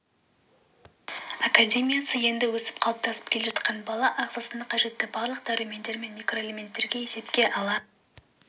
академиясы енді өсіп қалыптасып келе жатқан бала ағзасына қажетті барлық дәрумендер мен микроэлементтерді есепке ала